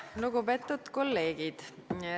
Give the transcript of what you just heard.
Lugupeetud kolleegid!